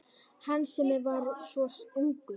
Hann sem var svo ungur.